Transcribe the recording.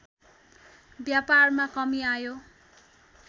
व्यापारमा कमी आयो